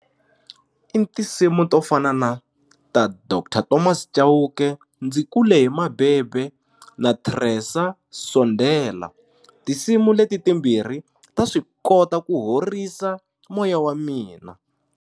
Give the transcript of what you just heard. I tinsimu to fana na ta Doctor Thomas Chauke ndzi kule hi mabebe na Tresor Sondela tinsimu leti timbirhi ta swi kota ku horisa moya wa mina.